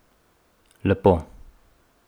Lepo.